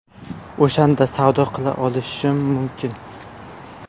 O‘shanda savdo qila olishim mumkin.